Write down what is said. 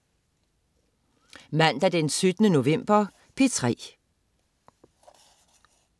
Mandag den 17. november - P3: